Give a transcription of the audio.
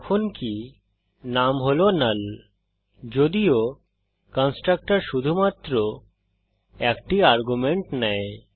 যখনকি নাম হল নাল যদিও কন্সট্রকটর শুধুমাত্র একটি আর্গুমেন্ট নেয়